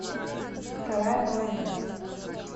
вторая половина